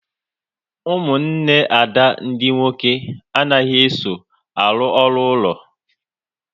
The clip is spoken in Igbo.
Ụmụnne Ada ndị nwoke anaghị eso arụ ọrụ ụlọ